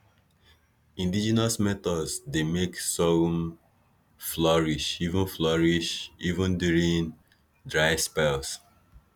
indigenous methods dey make sorghum flourish even flourish even during dry spells